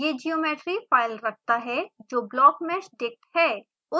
यह geometry file रखता है जो blockmeshdict है